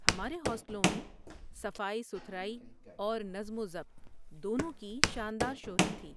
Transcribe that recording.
ہمارے ہاسٹلوں میں صفائی ستھرائی اور نظم و ضبط دونوں کی شاندار شہرت تھی۔